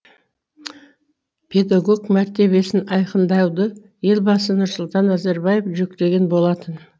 педагог мәртебесін айқындауды елбасы нұрсұлтан назарбаев жүктеген болатын